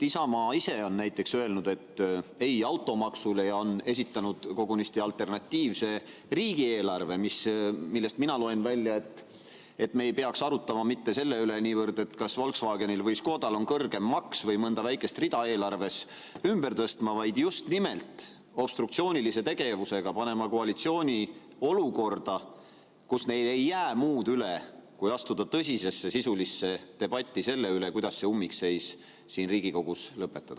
Isamaa ise on näiteks öelnud ei automaksule ja esitanud kogunisti alternatiivse riigieelarve, millest mina loen välja, et me ei peaks arutlema mitte niivõrd selle üle, kas Volkswagenil või Škodal on kõrgem maks, või mõnda väikest rida eelarves ümber tõstma, vaid just nimelt obstruktsioonilise tegevusega panema koalitsiooni olukorda, kus neil ei jää muud üle, kui astuda tõsisesse sisulisse debatti selle üle, kuidas see ummikseis siin Riigikogus lõpetada.